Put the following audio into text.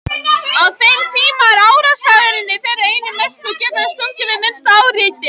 Á þeim tíma er árásargirni þeirra einnig mest og geta þeir stungið við minnsta áreiti.